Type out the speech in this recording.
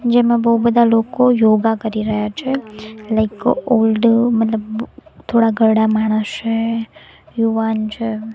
જેમાં બોવ બધા લોકો યોગા કરી રહ્યા છે લાઈક ઓલ્ડ મતલબ થોડા ઘરડા માણસ છે યુવાન છે.